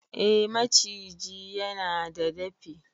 eh maciji yana da dafi